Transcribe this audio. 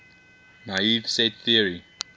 naive set theory